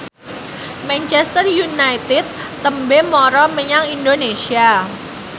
Manchester united tembe mara menyang Indonesia